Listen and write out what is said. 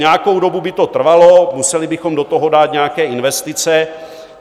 Nějakou dobu by to trvalo, museli bychom do toho dát nějaké investice.